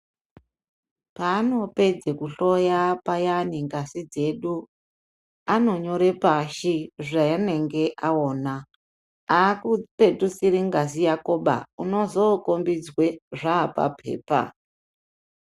Paanopedze kuhloya payana ngazi dzedu anonyord pashi zvaanenge anyora aakupetudziri ngazi yakoba unozokombidzwe zvaapapepa.